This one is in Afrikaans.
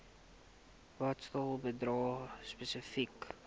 bates bedrae spesifiek